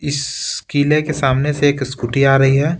इस किले के सामने से एक स्कूटी आ रही है।